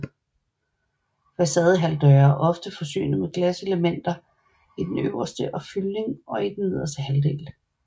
Facadehalvdøre er ofte forsynet med glaselemter i den øverste og fyldning i den nederste halvdel